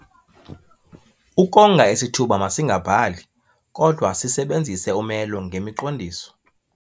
Ukonga isithuba masingabhali kodwa sisebenzise umelo ngemiqondiso.